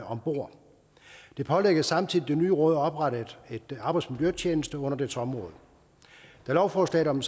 om bord det pålægges samtidig det nye råd at oprette en arbejdsmiljøtjeneste under dets område da lovforslaget om